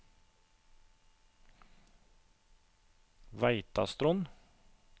Veitastrond